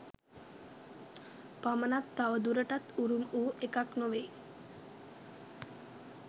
පමණක් තවදුරටත් උරුම වූ එකක් නොවේයි.